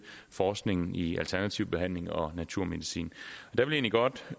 forskningen i alternativ behandling og naturmedicin